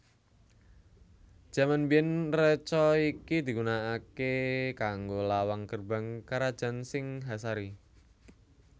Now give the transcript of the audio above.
Jaman biyèn reca iki digunakaké kanggo lawang gerbang karajan Singhasari